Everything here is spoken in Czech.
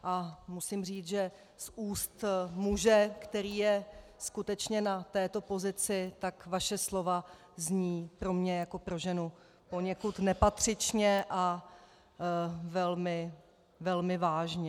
A musím říct, že z úst muže, který je skutečně na této pozici, tak vaše slova zní pro mne jako pro ženu poněkud nepatřičně a velmi vážně.